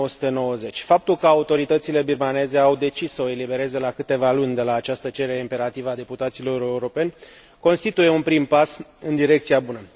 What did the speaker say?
1990. Faptul că autoritățile birmaneze au decis să o elibereze la câteva luni de la această cerere imperativă a deputaților europeni constituie un prim pas în direcția bună.